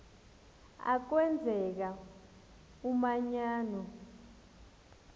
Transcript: a kwenzeka umanyano